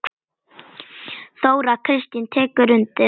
Þóra Kristín tekur undir það.